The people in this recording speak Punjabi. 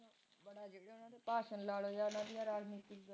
ਭਾਸ਼ਣ ਲੈ ਲੋ ਆ ਓਹਨਾ ਦੀ ਰਾਜਨੀਤੀ ਦੇ